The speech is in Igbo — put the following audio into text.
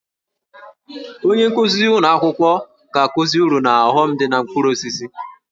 Onye nkuzi ụlọ akwụkwọ ga-akụzi uru na ọghọm dị na mkpụrụ osisi